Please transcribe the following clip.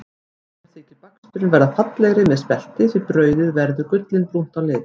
Mörgum þykir baksturinn verða fallegri með spelti því brauðið verður gullinbrúnt á lit.